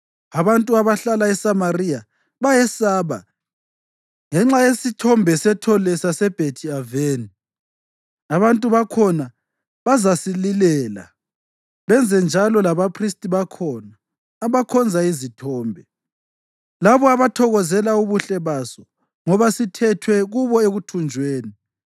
Abantu abahlala eSamariya bayesaba ngenxa yesithombe sethole saseBhethi-Aveni. Abantu bakhona bazasililela benzenjalo labaphristi bakhona abakhonza izithombe, labo abathokozela ubuhle baso ngoba sithethwe kubo ekuthunjweni.